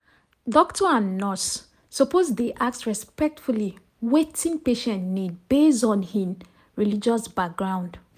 doctor and nurse suppose dey respectfully ask wetin patient need based on hin religious background.